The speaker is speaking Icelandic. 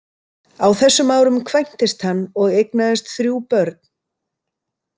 Á þessum árum kvæntist hann og eignaðist þrjú börn.